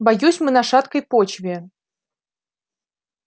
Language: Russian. боюсь мы на шаткой почве